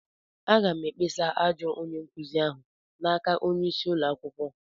Aga m ekpesa ajọ onye-nkuzi ahụ n'aka onye-isi ụlọ akwukwo.